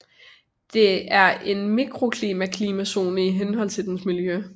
Det er en mikroklima klimazone i henhold til dens miljø